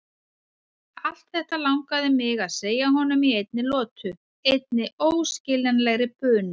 Allt þetta langaði mig að segja honum í einni lotu, einni óskiljanlegri bunu.